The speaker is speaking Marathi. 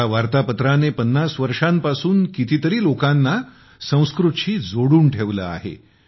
ह्या वार्तापत्राने 50 वर्षांपासून कितीतरी लोकांना संस्कृतशी जोडून ठेवले आहे